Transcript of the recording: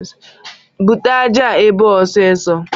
Bute aja a ebe a ọsịsọ